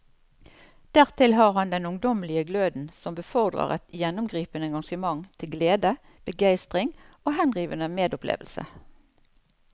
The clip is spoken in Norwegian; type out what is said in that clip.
Dertil har han den ungdommelige gløden som befordrer et gjennomgripende engasjement til glede, begeistring og henrivende medopplevelse.